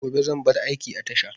Gobe zan bar aiki a tasha